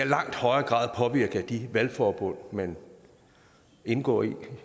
langt højere grad er påvirket af de valgforbund man indgår i